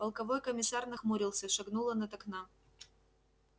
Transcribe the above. полковой комиссар нахмурился и шагнул он от окна